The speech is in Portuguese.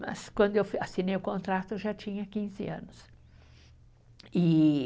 Mas quando eu assinei o contrato, eu já tinha quinze anos. E